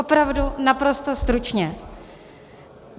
Opravdu naprosto stručně.